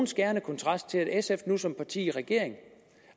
skærende kontrast til at sf nu som parti i regering